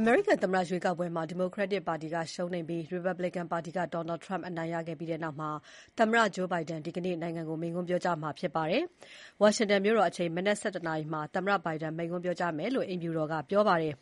အမေရိကန်သမ္မတရွေးကောက်ပွဲမှာ Democratic ပါတီက ရှုံးနိမ့်ပြီး Republican ပါတီက Donald Trump အနိုင်ရခဲ့တာနဲ့ပတ်သက်လို့ သမ္မတ Joe Biden ဒီနေ့ နိုင်ငံကို မိန့်ခွန်းပြောကြားမှာဖြစ်ပါတယ်။ ဝါရှင်တန်မြို့တော် အချိန်မနက် ၁၁ နာရီကျရင် သမ္မတ Biden မိန့်ခွန်းပြောကြားမယ်လို့ အိမ်ဖြူတော်က ပြောပါတယ်။